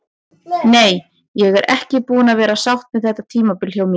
Nei, ég er ekki búin að vera sátt með þetta tímabil hjá mér.